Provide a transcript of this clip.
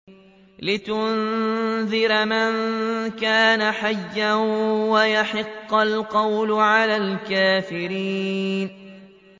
لِّيُنذِرَ مَن كَانَ حَيًّا وَيَحِقَّ الْقَوْلُ عَلَى الْكَافِرِينَ